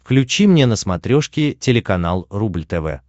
включи мне на смотрешке телеканал рубль тв